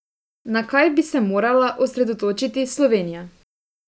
Na kaj bi se morala osredotočiti Slovenija?